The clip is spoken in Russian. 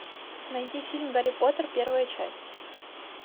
найди фильм гарри поттер первая часть